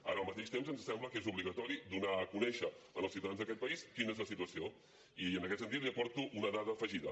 ara al mateix temps ens sembla que és obligatori donar a conèixer als ciutadans d’aquest país quina és la situació i en aquest sentit li aporto una dada afegida